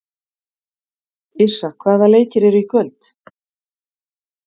Yrsa, hvaða leikir eru í kvöld?